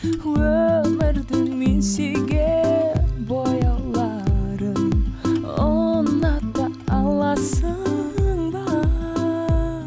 өмірдің мен сүйген бояуларын ұната аласың ба